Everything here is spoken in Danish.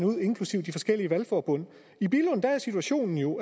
ud inklusive forskellige valgforbund i billund er situationen jo